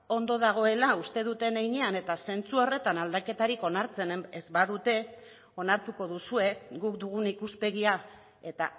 ondo dagoela uste duten heinean eta zentzu horretan aldaketarik onartzen ez badute onartuko duzue guk dugun ikuspegia eta